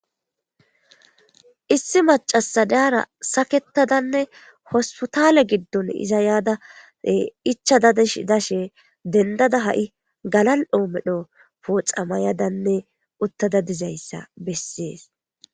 issi macasi dara saketadanne hospitale giddon iza yaada ichada dsh dashe dendada ha7i galal7oomedho pooxa mayadanne uttada dizayssa bessees